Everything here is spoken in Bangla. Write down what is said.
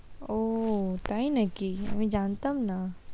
ও তাই নাকি আমি জানতাম না।